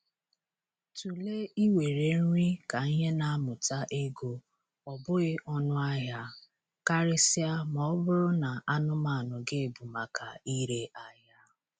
Tụlee iwere nri ka ihe na-amụta ego, ọ bụghị ọnụ ahịa, karịsịa ma ọ bụrụ na anụmanụ gị bụ maka ire ahịa.